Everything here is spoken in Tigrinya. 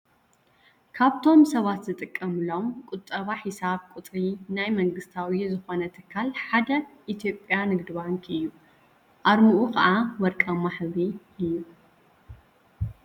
ካብቶም ሰባት ዝጥቀምሎም ቁጠባ ሒሳብ ቁፅሪ ናይ መንግስታዊ ዝኾነ ትካል ሓደ ኢትዮጱያ ንግዲ ባንክ እዩ። ኣርምኡ ከዓ ወርቃማ ሕብሪ እዩ።